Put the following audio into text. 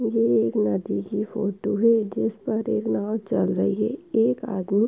ये एक नदी की फोटो है जिसपर एक नाव चल रही है। एक आदमी --